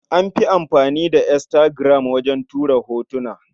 An fi amfani da Instagram wajen tura hotuna.